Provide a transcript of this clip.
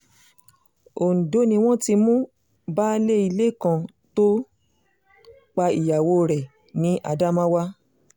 ondo ni wọ́n ti mú baálé ilé kan tó pa ìyàwó rẹ̀ ní adamawa